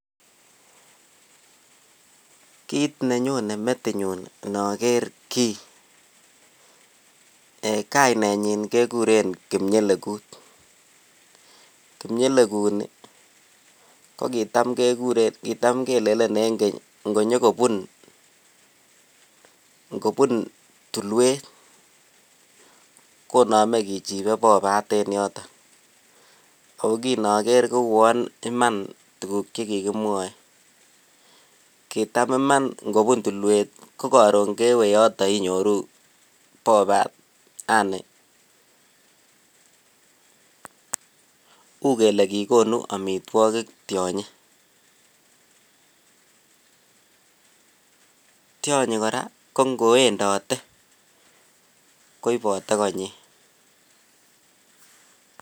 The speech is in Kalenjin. Kiit nenyone metinyun inoker kii kainenyin kekuren kipnyelekut, kipnyelekuni ko kotam kekuren kitam kelelen en keny ing'onyokobun ng'obun tulwet konome kichibe bobaat en yoton oo kiin oker Kouwon iman tukuk chekikimwoe, kitam Iman ng'obun tulwet ko koron kewee yoto inyoru bobaat yaani uu kelee kikonu amitwokik tionyi tionyi kora ko ng'owendote koibote konyin.